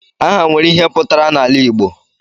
Aha nwere ihe pụtara n'ala Igbo